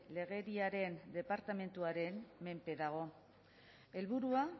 legeriaren departamentuaren menpe dago